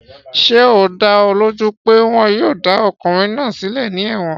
Ṣé ó dá ọ lójú pé wọn yóò dá ọkùnrin náà sílẹ̀ ní ẹ̀wọ̀n?